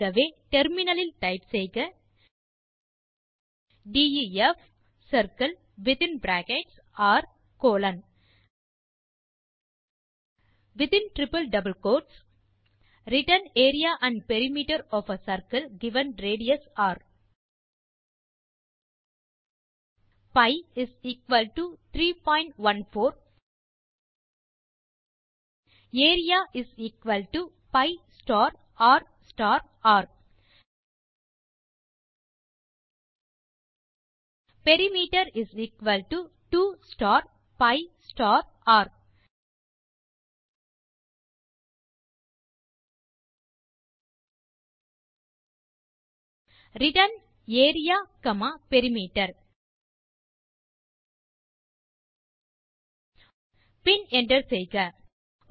ஆகவே இப்போது டெர்மினல் லில் டைப் செய்க def circle within bracket r colon returns area and perimeter of a circle given radius r pi 314 area pi star r star r perimeter 2 star pi star r return area comma perimeter பின் enter செய்க